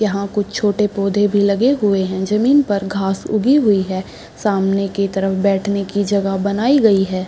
यहाँ कुछ छोटे पौधे भी लगे हुए है ज़मीन पे घास उगी हुई है सामने के तरफ बैठने की जगह बनाई गई है ।